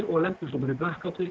og lendir svo bara í